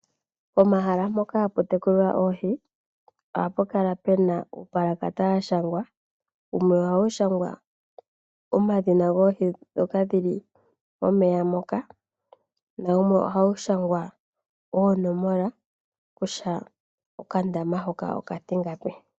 Pomahala mpoka hatu tekulwa oohi ohapu kala pena uupalakata washangwa. Wumwe ohawu shangwa omadhina goohi dhoka dhili momeya moka nawumwe ohawu shangwa oonomola kusha okandama hoka okatingapi.